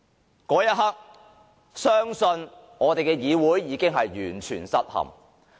到了那一刻，相信我們的議會已完全失陷。